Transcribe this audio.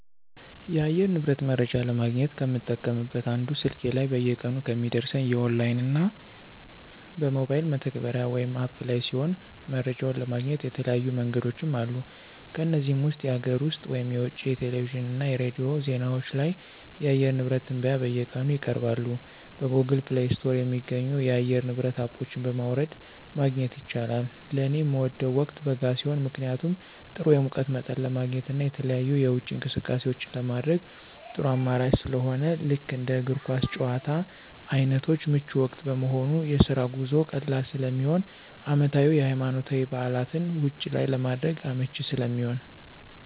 የአየር ንብረት መረጃ ለማግኘት ከምጠቀምበት አንዱ ስልኬ ላይ በየቀኑ ከሚደርሰኝ የኦንላይን እና በሞባይል መተግበሪያ (አፕ) ላይ ሲሆን መረጃውን ለማግኘት የተለያዩ መንገዶችም አሉ ከነዚህም ውስጥ የሀገር ውስጥ (የውጭ) የቴሌቪዥን እና የሬዲዮ ዜናዎች ላይ የአየር ንብረት ትንበያ በየቀኑ ይቀርባሉ። በGoogle Play ስቶር የሚገኙ የአየር ንብረት አፖች በማውረድ ማግኘት ይቻላል። ለኔ ምወደው ወቅት በጋ ሲሆን ምክንያቱም ጥሩ የሙቀት መጠን ለማግኘት እና የተለያዩ የውጪ እንቅስቃሴዎችን ለማድረግ ጥሩ አማራጭ ስለሆነ ልክ እንደ እግር ኳስ ጭዋታ አይነቶች ምቹ ወቅት በመሆኑ፣ የስራ ጉዞ ቀላል ስለሚሆን፣ አመታዊ የሀይማኖታዊ በዓላትን ውጭ ላይ ለማድረግ አመቺ ስለሚሆን።